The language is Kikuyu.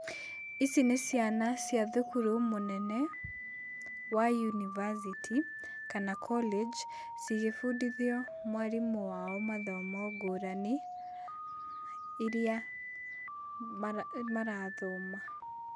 Ici nĩ ciana cia thukuru mũnene wa university kana college, cigĩbundithio mwarimũ wao mathomo ngũrani iria marathoma.